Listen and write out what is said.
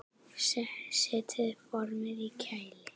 Setjið formin í kæli.